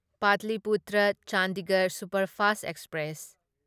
Pataliputra Chandigarh superfast express